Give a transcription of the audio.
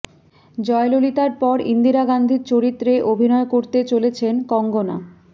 জয়ললিতার পর ইন্দিরা গান্ধীর চরিত্রে অভিনয় করতে চলেছেন কঙ্গনা